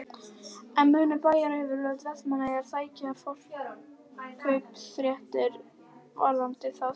En munu bæjaryfirvöld Vestmannaeyja sækja forkaupsréttinn varðandi þá sölu?